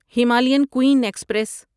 Himalayan Queen express